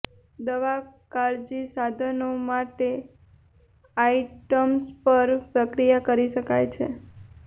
દવા કાળજી સાધનો માટે આઇટમ્સ પર પ્રક્રિયા કરી શકાય છે